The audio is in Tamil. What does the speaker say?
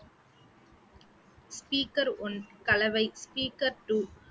speaker one கலவை speaker two